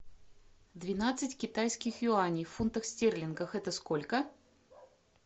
двенадцать китайских юаней в фунтах стерлингах это сколько